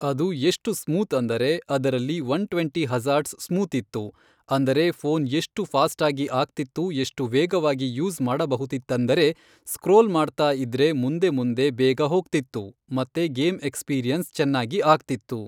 ಅದು ಎಷ್ಟು ಸ್ಮೂತ್ ಅಂದರೆ ಅದರಲ್ಲಿ ಒನ್ ಟ್ವೆಂಟಿ ಹಜ಼ಾರ್ಡ್ಸ್ ಸ್ಮೂತ್ ಇತ್ತು ಅಂದರೆ ಫ಼ೋನ್ ಎಷ್ಟು ಫ಼ಾ಼ಷ್ಟಾಗಿ ಆಗ್ತಿತ್ತು ಎಷ್ಟು ವೇಗವಾಗಿ ಯೂಸ್ ಮಾಡಬಹುದಿತ್ತಂದರೆ ಸ್ಕ್ರೋಲ್ ಮಾಡ್ತಾ ಇದ್ರೆ ಮುಂದೆ ಮುಂದೆ ಬೇಗ ಹೋಗ್ತಿತ್ತು ಮತ್ತೆ ಗೇಮ್ ಎಕ್ಸ್ಪಿರಿಯೆನ್ಸ್ ಚೆನ್ನಾಗಿ ಆಗ್ತಿತ್ತು.